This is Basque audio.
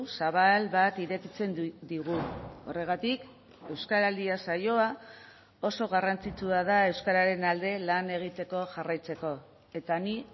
zabal bat irekitzen digu horregatik euskaraldia saioa oso garrantzitsua da euskararen alde lan egiteko jarraitzeko eta ni